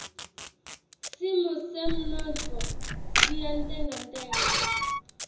simo semnotfo siyantengantenga